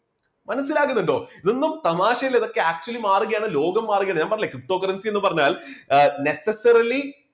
മനസ്സിലാകുന്നുണ്ടോ? ഇതൊന്നും തമാശയല്ല ഇതൊക്കെ actually മാറുകയാണ് ലോകം മാറുകയാണ് ഞാൻ പറഞ്ഞില്ലേ ptocurrency എന്ന് പറഞ്ഞാൽ necessarly